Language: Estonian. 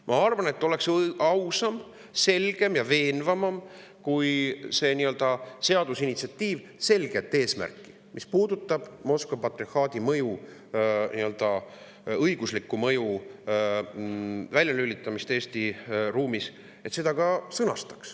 Ma arvan, et oleks ausam, selgem ja veenvam, kui selles seadusinitsiatiivis sõnastataks selgelt eesmärk, mis puudutab Moskva patriarhaadi õigusliku mõju väljalülitamist Eesti ruumis.